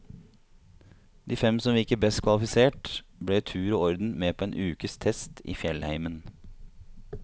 De fem som virket best kvalifisert, ble i tur og orden med på en ukes test i fjellheimen.